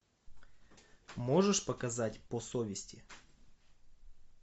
можешь показать по совести